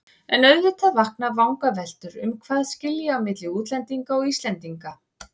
En auðvitað vakna vangaveltur um hvað skilji á milli útlendinga og Íslendinga.